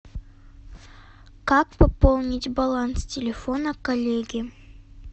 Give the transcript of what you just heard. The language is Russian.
как пополнить баланс телефона коллеги